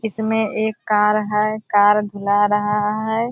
इसमें एक कार है। कार धुला रहा है।